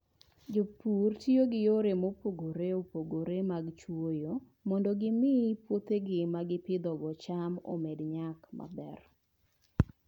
Jopur tiyo gi yore mopogore opogore mag chwoyo mondo gimi puothegi ma gipidhogo cham omed nyak maber.